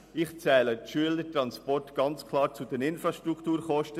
Ich zähle die Schülertransporte klar zu den Infrastrukturkosten.